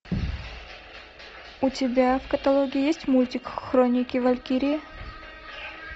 у тебя в каталоге есть мультик хроники валькирии